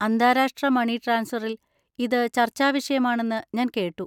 അന്താരാഷ്ട്ര മണി ട്രാൻസ്ഫറിൽ ഇത് ചർച്ചാവിഷയമാണെന്ന് ഞാൻ കേട്ടു?